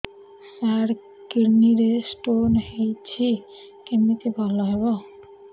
ସାର kidney ରେ stone ହେଇଛି କମିତି ଭଲ ହେବ